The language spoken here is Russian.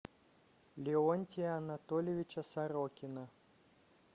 леонтия анатольевича сорокина